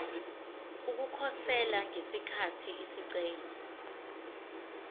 ukukhosela ngesikhathi isicelo